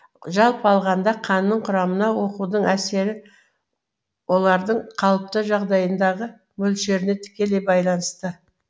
жалпы алғанда қанның құрамына оқудың әсері олардың қалыпты жағдайындағы мөлшеріне тікелей байланысты